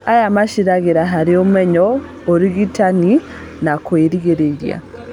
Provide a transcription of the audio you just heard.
Aya magacĩraga harĩ ũmenyo, ũrigitani, na kũrigĩrĩria